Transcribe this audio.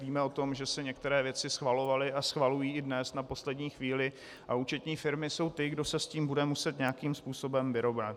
Víme o tom, že se některé věci schvalovaly a schvalují i dnes na poslední chvíli, a účetní firmy jsou ty, kdo se s tím bude muset nějakým způsobem vyrovnat.